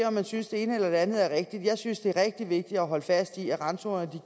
om man synes det ene eller det andet er rigtigt jeg synes det er rigtig vigtigt at holde fast i at randzonerne